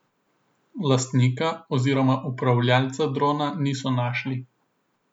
Lastnika oziroma upravljalca drona niso našli.